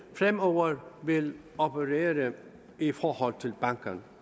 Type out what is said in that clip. fremover vil operere i forhold til bankerne